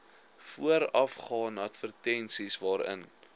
voorafgaan advertensies waarin